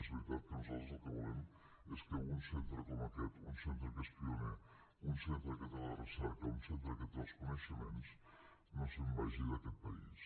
és veritat que nosaltres el que volem és que un centre com aquest un centre que és pioner un centre que té la recerca un centre que té els coneixements no se’n vagi d’aquest país